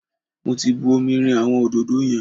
Mo ti bu omi rin àwọn òdòdó yẹn.